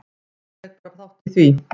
Ég tek bara þátt í því.